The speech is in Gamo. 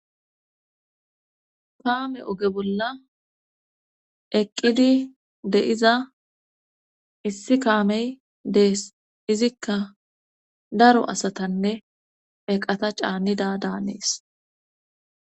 Kaame oge bolla eqqidi de'iza issi kaamey dees izikka daro asatanne eqata caanida daanees.